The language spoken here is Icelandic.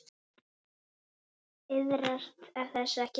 Iðrast þess ekki nú.